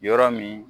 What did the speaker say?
Yɔrɔ min